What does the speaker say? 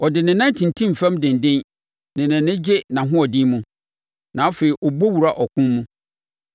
Ɔde ne nan tintim fam denden, na nʼani gye nʼahoɔden mu, na afei ɔbɔ wura ɔko mu.